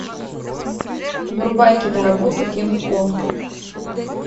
врубай киноработу кинг конг